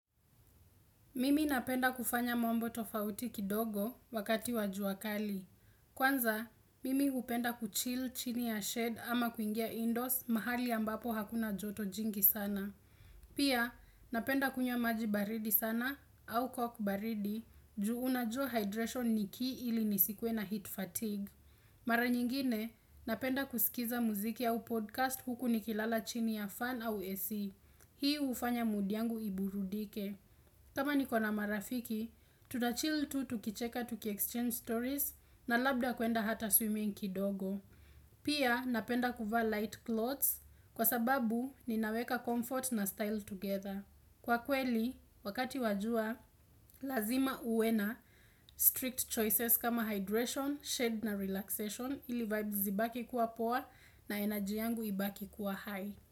Mimi napenda kufanya mambo tofauti kidogo wakati wa jua kali. Kwanza, mimi hupenda kuchill chini ya shed ama kuingia indoors mahali ambapo hakuna joto jingi sana. Pia, napenda kunywa maji baridi sana au coke baridi juu unajua hydration ni key ili nisikuwe na heat fatigue. Mara nyingine, napenda kusikiza mziki au podcast huku nikilala chini ya fan au AC. Hii hufanya mood yangu iburudike. Kama nikona marafiki, tutachill tu tukicheka tukiexchange stories na labda kuenda hata swimming kidogo. Pia napenda kuvaa light clothes kwa sababu ninaweka comfort na style together. Kwa kweli, wakati wa jua, lazima uwe na strict choices kama hydration, shade na relaxation ili vibes zibaki kuwa poa na energy yangu ibaki kuwa high.